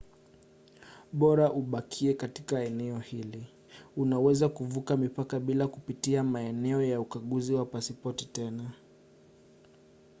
bora ubakie katika eneo hili unaweza kuvuka mipaka bila kupitia maeneo ya ukaguzi wa pasipoti tena